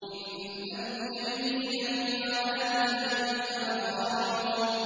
إِنَّ الْمُجْرِمِينَ فِي عَذَابِ جَهَنَّمَ خَالِدُونَ